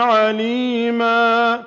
عَلِيمًا